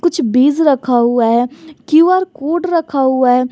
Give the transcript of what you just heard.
कुछ बीज रखा हुआ है क्यू_आर कोड रखा हुआ है।